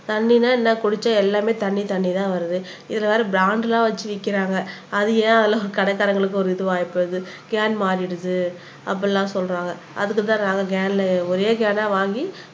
தண்ணினா என்ன குடிச்சா எல்லாமே தண்ணி தண்ணி தான் வருது இதுல வேற பிராண்ட் எல்லாம் வச்சிருக்காங்க அது ஏன் கடைக்காரங்களுக்கு ஒரு இஆகிப் போயிருது கேன் மாறிடுது அப்படி எல்லாம் சொல்றாங்க அதுக்கு தான் நாங்க கேன்ல ஒரே கேனா வாங்கி